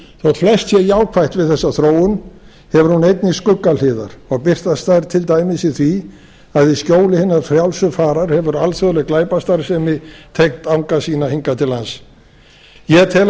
þótt flest sé jákvætt við þessa þróun hefur hún einnig skuggahliðar og birtast þær til dæmis í því að í skjóli hinnar frjálsu farar hefur alþjóðleg glæpastarfsemi tengt anga sína hingað til lands ég tel að